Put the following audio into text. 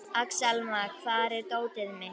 Axelma, hvar er dótið mitt?